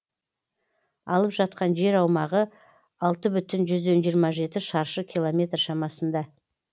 алып жатқан жер аумағы алты бүтін жүзден жиырма жеті шаршы киломметр шамасында